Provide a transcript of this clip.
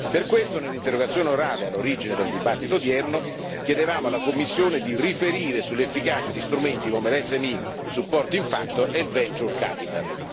Per questo, nell'interrogazione orale all'origine del dibattito odierno, chiedevamo alla Commissione di riferire sull'efficacia di strumenti come lo SME Supporting Factor e il Venture Capital